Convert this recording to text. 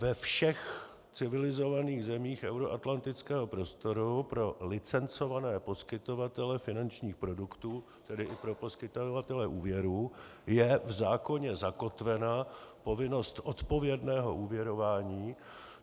Ve všech civilizovaných zemích euroatlantického prostoru pro licencované poskytovatele finančních produktů, tedy i pro poskytovatele úvěrů, je v zákoně zakotvena povinnost odpovědného úvěrování.